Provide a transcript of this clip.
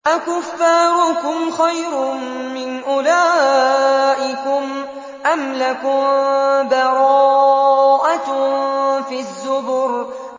أَكُفَّارُكُمْ خَيْرٌ مِّنْ أُولَٰئِكُمْ أَمْ لَكُم بَرَاءَةٌ فِي الزُّبُرِ